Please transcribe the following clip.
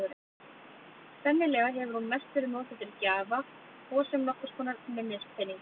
Sennilega hefur hún mest verið notuð til gjafa og sem nokkurs konar minnispeningur.